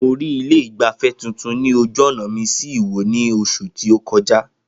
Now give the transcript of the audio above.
Mo rí ilé ìgbafẹ́ tuntun ní ojú ọ̀nà mi sí ìwó ní oṣù tí ó kọjá